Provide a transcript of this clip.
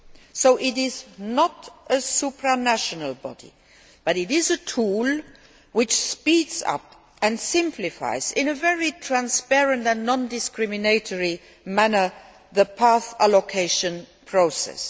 So it is not a supranational body, but it is a tool which speeds up and simplifies, in a very transparent and non discriminatory manner, the path allocation process.